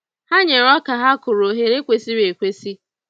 Ha nyere oka ha kụrụ ohere kwesịrị ekwesị.